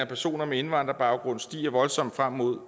personer med indvandrerbaggrund stiger voldsomt frem mod